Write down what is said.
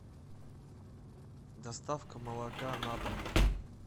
доставка молока на дом